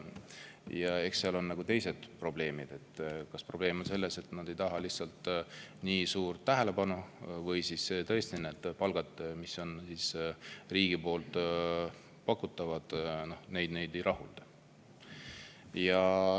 Eks seal on: kas probleem on selles, et nad ei taha lihtsalt nii suurt tähelepanu, või siis tõesti need palgad, mida riik pakub, neid ei rahulda.